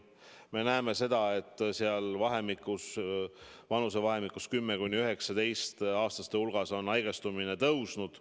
Me näeme seda, et vanusevahemikus 10–19‑aastased on nakatumine kasvanud.